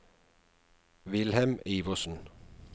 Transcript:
Wilhelm Iversen